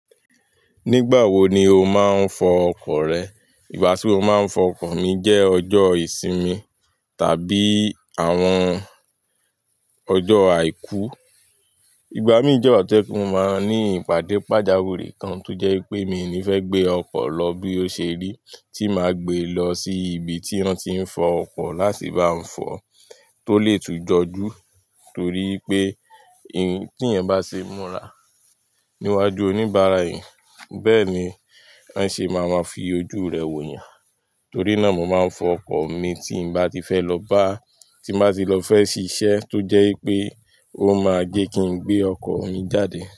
Nígbà wo ni o máa ń fọ ọkọ̀ rẹ? Ìgbà tí mo máa ń fọ ọkọ̀ mi jẹ́ ọjọ́ ìsinmi tàbí àwọn ọjọ́ àìkú. Ìgbà mií jẹ́ ìgbà to je pe mo máa ní ìpàdé pàjáwìrì kan tó jẹ́ wipé mii ní fẹ́ gbé ọkọ̀ lọ bí ó ṣe rí, tí màá gbé lọ sí ibi tí wọ́n ti ń fọ ọkọ̀ láti bá n fọ, tó lè tún jọjú. Torí pé tí eeyan bá ṣe múra níwájú oníbàárà eeyan, bẹ́ẹ̀ ni won ṣe máa má fi ojú rẹ wò eeyàn. Torí náà mo ma ń fọ ọkọ̀ mi tí n bá ti fẹ́ lọ bá, tí n bá ti lọ fẹ́ ṣiṣẹ́ tó jẹ́ wipé ó máa jé kí n gbé ọkọ̀ mi jáde.